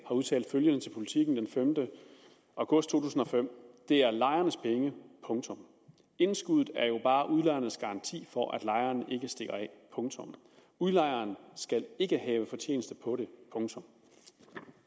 udtalt følgende til politiken den femte august 2005 det er lejernes penge indskuddet er jo bare udlejernes garanti for at lejerne ikke stikker af udlejeren skal ikke have fortjenesten på det